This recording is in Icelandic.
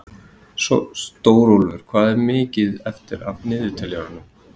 Stórólfur, hvað er mikið eftir af niðurteljaranum?